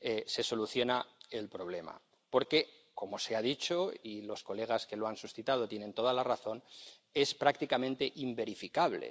se soluciona el problema, porque, como se ha dicho —y los colegas que lo han suscitado tienen toda la razón—, es prácticamente inverificable.